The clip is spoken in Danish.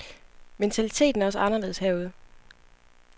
Mentaliteten er også anderledes herude.